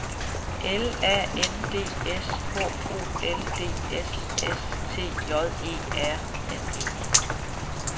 L A N D S H O L D S S T J E R N E